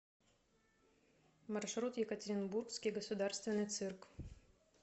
маршрут екатеринбургский государственный цирк